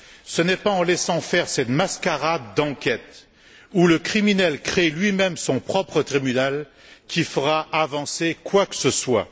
Ce n'est pas en laissant faire cette mascarade d'enquête où le criminel crée lui même son propre tribunal que l'on fera avancer quoi que ce soit.